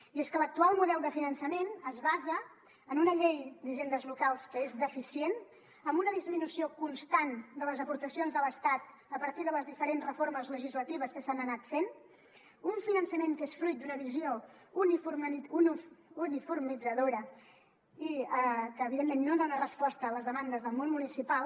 i és que l’actual model de finançament es basa en una llei d’hisendes locals que és deficient amb una disminució constant de les aportacions de l’estat a partir de les diferents reformes legislatives que s’han anat fent un finançament que és fruit d’una visió uniformitzadora i que evidentment no dona resposta a les demandes del món municipal